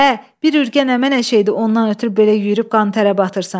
Ə, bir ürgə əmə nə şeydi, ondan ötrü belə yüyürüb qan-tərə batırsan.